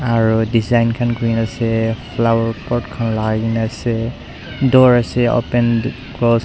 aru design khan kuri na ase flower pot khan lagai ke na ase door ase open close --